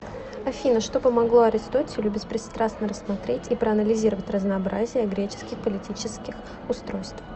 афина что помогло аристотелю беспристрастно рассмотреть и проанализировать разнообразие греческих политических устройств